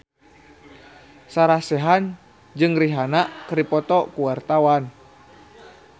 Sarah Sechan jeung Rihanna keur dipoto ku wartawan